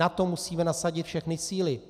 Na to musíme nasadit všechny síly.